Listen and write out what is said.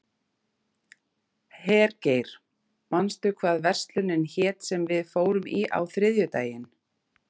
Hergeir, manstu hvað verslunin hét sem við fórum í á þriðjudaginn?